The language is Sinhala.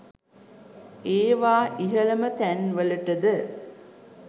ඒවා ඉහළම තැන්වලටද